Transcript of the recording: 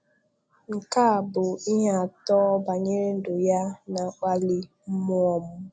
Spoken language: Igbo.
Nke a bụ ihe atọ banyere ndụ ya na-akpali mmụọ m.